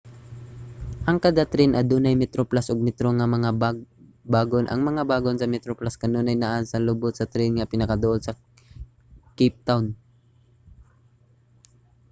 ang kada tren adunay metroplus ug metro nga mga bagon; ang mga bagon sa metroplus kanunay naa sa lubot sa tren nga pinakaduol sa cape town